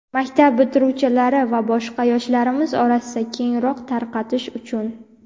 Maktab bitiruvchilari va boshqa yoshlarimiz orasida kengroq tarqatish uchun!.